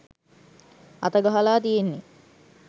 අත ගහලා තියෙන්නෙ.